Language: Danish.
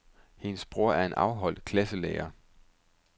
Hendes bror er en afholdt klasselærer.